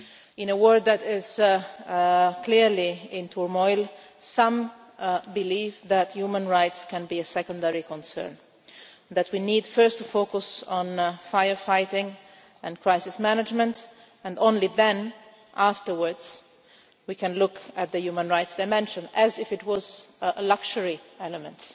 In a world that is clearly in turmoil, some believe that human rights can be a secondary concern, that we need first to focus on fire fighting and crisis management and only then, afterwards, can we look at the human rights dimension as if it was a luxury element